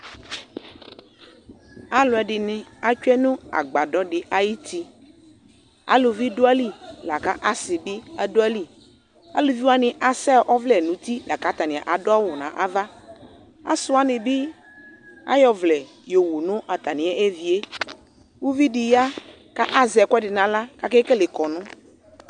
Alʋɛdini atsue nʋ agbadɔ di ayuti Alʋvi du ayili la kʋ asi bi dʋ ayili Alʋvi wani asɛ ɔvlɛ nʋ uti la kʋ atani adʋ awʋ n'ava Asi wani bi ayɔ ɔvlɛ yɔwu nʋ atami evi e Uvi di ya kʋ azɛ ɛkʋɛdi n'aɣla kʋ akekele kɔnʋ